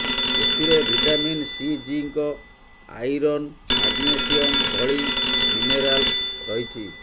ଏଥିରେ vitamin C zinc iron magnesium ଭଳି minerals ରହିଛି